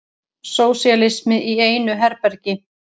Sósíalismi í einu herbergi.